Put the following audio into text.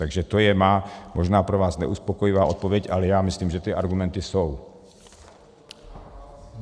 Takže to je má možná pro vás neuspokojivá odpověď, ale já myslím, že ty argumenty jsou.